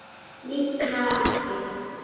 Líklega ekki.